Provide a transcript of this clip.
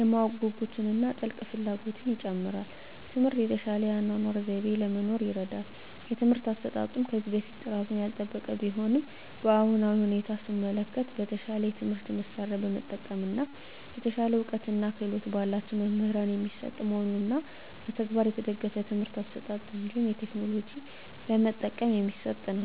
የማወቅ ጉጉትን እና ጥልቅ ፍላጎትን ይጨምራል። ትምህርት የተሻለ የአኗኗር ዘይቤ ለመኖር ይርዳል። የትምህርት አሰጣጡም ከዚህ በፊት ጥራቱን ያልጠበቀ ቢሆንም በአሁናዊ ሁኔታ ሰመለከት በተሻለ የትምህርት መሳርያ በመጠቀም እና የተሻለ እውቀትና ክህሎት በላቸው መምህራን የሚሰጥ መሆኑንና በተግባር የተደገፍ የትምህርት አሰጣጥ እንዲሁም ቴክኖሎጂ በመጠቀም የሚሰጥ ነው።